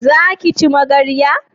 Za ki ci magarya?